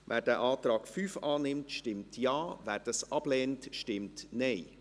Wer diesen Antrag annimmt, stimmt Ja, wer diesen ablehnt, stimmt Nein.